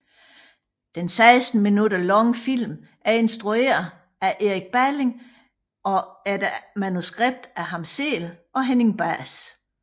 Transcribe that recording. Den 16 minutter lange film er instrueret af Erik Balling efter manuskript af ham selv og Henning Bahs